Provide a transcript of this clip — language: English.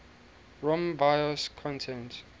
rom bios content